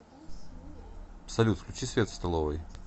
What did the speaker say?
салют включи свет в столовой